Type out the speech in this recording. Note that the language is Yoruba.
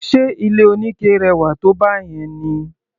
Ṣe ilé oníke rẹwà tó báyẹn ni?